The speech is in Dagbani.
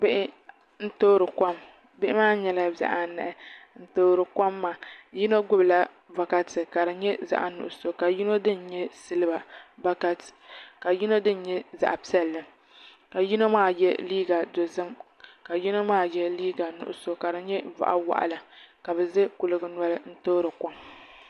Bihi n toori kom bihi maa nyɛla bihi anahi n toori kom maa yino gbubila bokati ka di nyɛ zaɣ nuɣso ka yino dini nyɛ silba bokati ka yino dini nyɛ zaɣ piɛlli ka yino maa yɛ liiga nuɣso ka di nyɛ boɣa waɣala ka bi ʒɛ kuli gi noli n toori kom